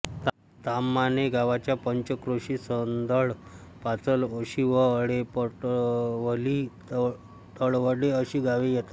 ताम्हाणे गावाच्या पंचक्रोशीत सौंदळ पाचल ओशिवळेपरटवली तळवडे अशी गावे येतात